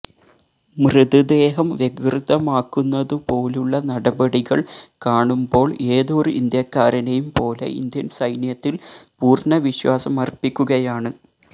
മൃതദേഹം വികൃതമാക്കുന്നതു പോലുള്ള നടപടികള് കാണുമ്ബോള് ഏതൊരു ഇന്ത്യക്കാരനെയും പോലെ ഇന്ത്യന് സൈന്യത്തില് പൂര്ണവിശ്വാസമര്പ്പിക്കുകയാണ്